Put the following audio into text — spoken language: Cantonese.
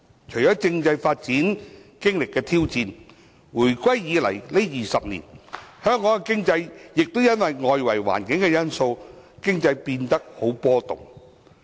除了政制發展經歷的挑戰，回歸20年，香港經濟亦因為外圍環境因素而變得波動。